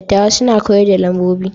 Dattawa suna koyar da lambobi.